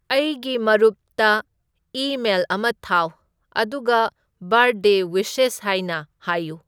ꯑꯩꯒꯤ ꯃꯔꯨꯞꯇ ꯏꯃꯦꯜ ꯑꯃ ꯊꯥꯎ ꯑꯗꯨꯒ ꯕꯔꯊꯗꯦ ꯋꯤꯁꯦꯁ ꯍꯥꯏꯅ ꯍꯥꯏꯌꯨ